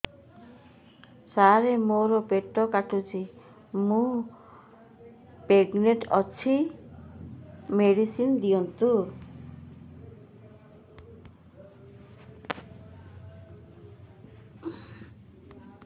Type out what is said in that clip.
ସାର ମୋର ପେଟ କାଟୁଚି ମୁ ପ୍ରେଗନାଂଟ ଅଛି ମେଡିସିନ ଦିଅନ୍ତୁ